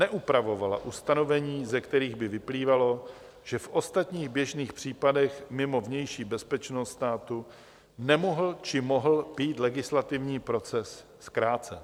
Neupravovala ustanovení, ze kterých by vyplývalo, že v ostatních běžných případech mimo vnější bezpečnost státu nemohl, či mohl být legislativní proces zkrácen.